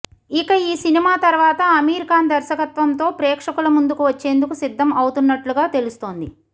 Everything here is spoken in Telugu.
ఇక ఈ సినిమా తర్వాత అమీర్ ఖాన్ దర్శకత్వంతో ప్రేక్షకుల ముందుకు వచ్చేందుకు సిద్దం అవుతున్నట్లుగా తెలుస్తోంది